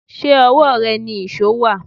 Ṣé owó rẹ ni íṣo wá?